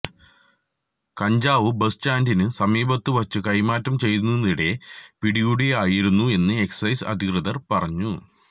കഞ്ചാവ് ബസ് സ്റ്റാന്ഡിനു സമീപത്തു വച്ചു കൈമാറ്റം ചെയ്യുന്നതിനിടെ പിടികൂടുകയായിരുന്നു എന്ന് എക്സൈസ് അധികൃതര് പറഞ്ഞു